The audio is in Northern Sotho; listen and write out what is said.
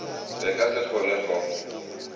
re ka se kgone go